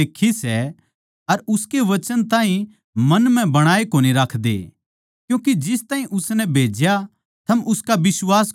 अर उसकै वचन ताहीं मन म्ह बणाए कोनी राखदे क्यूँके जिस ताहीं उसनै भेज्या थम उसका बिश्वास कोनी करदे